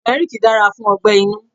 Turmeric dára fún ọgbẹ-inú.